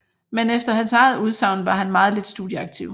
Men efter hans eget udsagn var han meget lidt studieaktiv